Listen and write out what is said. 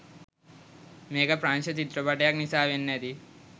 මේක ප්‍රංශ චිත්‍රපටයක් නිසා වෙන්න ඇති